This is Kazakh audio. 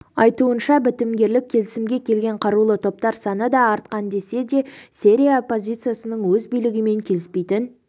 айтуынша бітімгерлік келісімге келген қарулы топтар саны да артқан десе де сирия оппозициясының өз билігімен келіспейтін